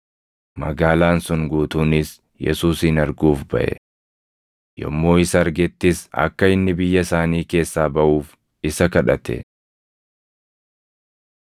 Magaalaan sun guutuunis Yesuusin arguuf baʼe. Yommuu isa argettis akka inni biyya isaanii keessaa baʼuuf isa kadhate.